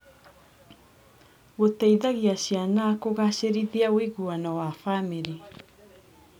Gũteithagia ciana kũgacĩrithia ũiguano wa bamĩrĩ.